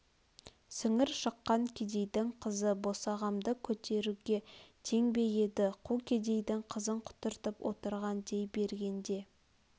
сіңір шыққан кедейдің қызы босағамды көруге тең бе еді қу кедейдің қызын құтыртып отырған дей бергенде